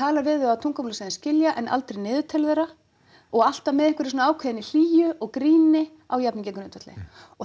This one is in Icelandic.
talar við þau á tungumáli sem þau skilja en aldrei niður til þeirra og alltaf með ákveðinni hlýju og gríni á jafningjagrundvelli og